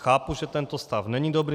Chápu, že tento stav není dobrý.